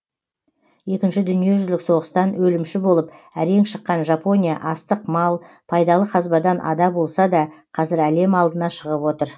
екінші дүниежүзілік соғыстан өлімші болып әрең шыққан жапония астық мал пайдалы қазбадан ада болса да қазір әлем алдына шығып отыр